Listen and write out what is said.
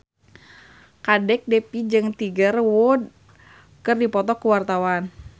Kadek Devi jeung Tiger Wood keur dipoto ku wartawan